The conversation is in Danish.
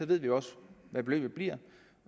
ved vi også hvad beløbet bliver